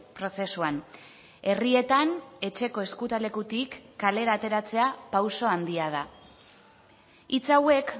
prozesuan herrietan etxeko ezkutalekutik kalera ateratzea pauso handia da hitz hauek